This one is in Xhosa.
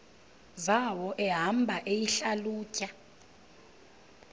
zawo ehamba eyihlalutya